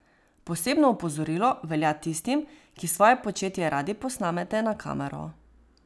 Posebno opozorilo velja tistim, ki svoje početje radi posnamete na kamero.